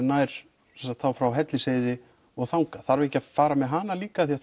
nær frá Hellisheiði og þangað þarf ekki að fara með hana líka því